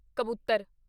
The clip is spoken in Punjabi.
ਕਬੂਤਰ